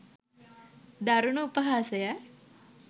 දරුණු උපහාසයක්